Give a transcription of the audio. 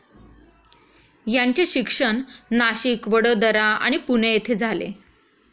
यांचे शिक्षण नाशिक वडोदरा आणि पुणे येथे झाले.